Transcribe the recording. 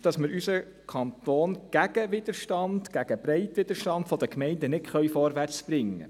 Wir können unseren Kanton gegen den Widerstand, gegen den breiten Widerstand der Gemeinden nicht vorwärtsbringen.